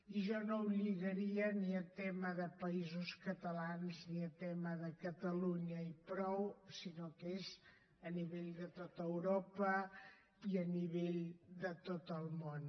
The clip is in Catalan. i jo no ho lligaria ni a tema de països catalans ni a tema de catalunya i prou sinó que és a nivell de tot europa i a nivell de tot el món